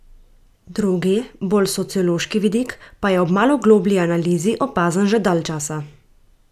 Drugi, bolj sociološki vidik, pa je ob malo globlji analizi opazen že dalj časa!